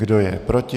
Kdo je proti?